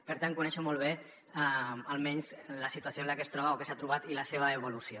per tant conec molt bé almenys la situació en la que es troba o que s’ha trobat i la seva evolució